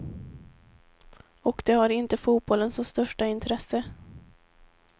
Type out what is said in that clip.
Och de har inte fotbollen som största intresse.